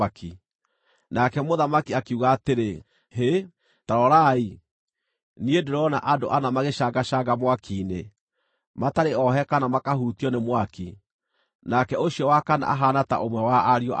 Nake mũthamaki akiuga atĩrĩ, “Hĩ, ta rorai! Niĩ ndĩrona andũ ana magĩcangacanga mwaki-inĩ, matarĩ ohe kana makahutio nĩ mwaki, nake ũcio wa kana ahaana ta ũmwe wa ariũ a ngai.”